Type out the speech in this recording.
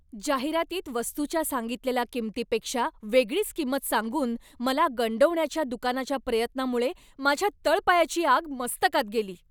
जाहिरातीत वस्तूच्या सांगितलेल्या किंमतीपेक्षा वेगळीच किंमत सांगून मला गंडवण्याच्या दुकानाच्या प्रयत्नामुळे माझ्या तळपायाची आग मस्तकात गेली.